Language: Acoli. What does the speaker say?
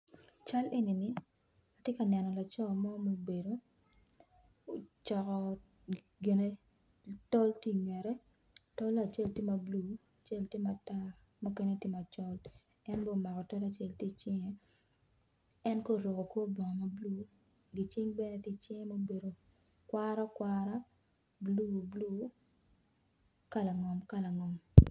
I cal eni atye ka neno laco mo ma obedo coko tol tye i ngete tole acel tye ma bulu acel tye ma tar muken tye ma tar en bene omako tol acel tye i cinge en kono oruko kor bongo ma bulu giking bene tye i cinge ma obedo okwaraokwara buluebulu kalangom kalangom.